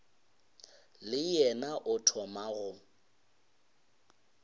le yena o thoma go